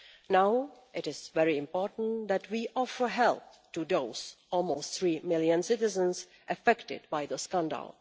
Now it is very important that we offer help to those almost three million citizens affected by the scandal.